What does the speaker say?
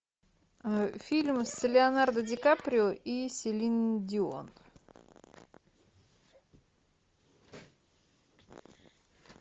фильм с леонардо ди каприо и селин дион